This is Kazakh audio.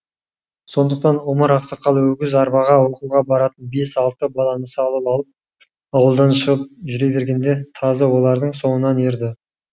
сондықтан омар ақсақал өгіз арбаға оқуға баратын бес алты баланы салып алып ауылдан шығып жүре бергенде тазы олардың соңынан ерді